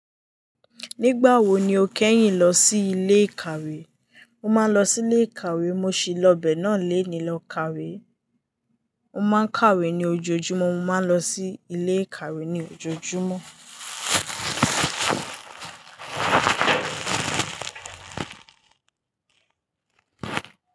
Nígbà wo ni o kẹ́yìn lọ sí ilé ìkàwé? Mo máa ń lọ sí ilé ìkàwé. Mo sì lọ bẹ́ẹ̀ náà lenìí lọ kàwé. Mo máa ń kàwé ní ojoojúmọ́. Mo máa ń lọ sí ilé ìkàwé ní ojoojúmọ́.